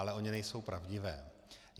Ale ony nejsou pravdivé.